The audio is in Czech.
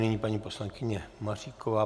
Nyní paní poslankyně Maříková.